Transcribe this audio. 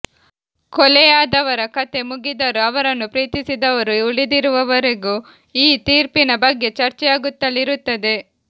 ಕೊಲೆಯಾದವರ ಕಥೆ ಮುಗಿದರೂ ಅವರನ್ನು ಪ್ರೀತಿಸಿದವರು ಉಳಿದಿರುವವರೆಗೂ ಈ ತೀರ್ಪಿನ ಬಗ್ಗೆ ಚರ್ಚೆಯಾಗುತ್ತಲೇ ಇರುತ್ತದೆ